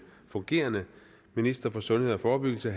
fungerende minister for sundhed og forebyggelse